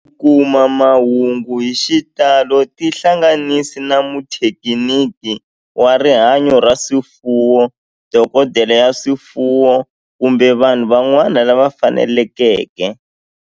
Ku kuma mahungu hi xitalo tihlanganisi na muthekiniki wa rihanyo ra swifuwo, dokodela ya swifuwo, kumbe vanhu van'wana lava fanelekeke